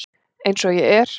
Eins og ég er.